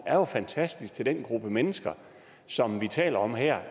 er jo fantastisk til den gruppe mennesker som vi taler om her